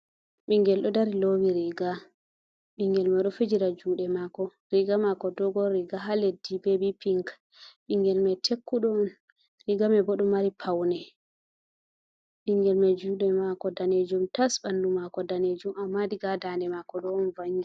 Bingel do dari lowi riga, bingel man ɗo fijira juɗe mako, riga mako dogon riga ha leddi be bipinc, ɓingel mai tekkudo on rigamanbo ɗo mari paune, ɓingel man jude mako danejum tas, ɓandu mako danejum, amma diga ha dande mako ɗo on vangi.